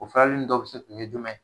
O dɔw bi se ka kɛ jumɛn ?